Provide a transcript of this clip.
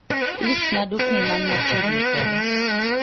listna dukni man machiegni koda